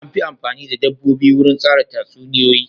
An fi amfani da dabbobi wurin tsara tatsuniyoyi.